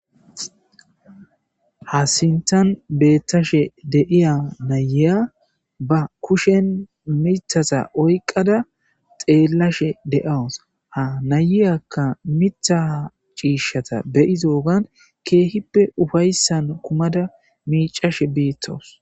Ha sinththan bettashe deiya na'iya ba kushshen miththaza oyqqada xellashe de'awusu ha na'yakka miththa ciishatta be'iddogan kehippe uffayssan kummada miccashe betawusu.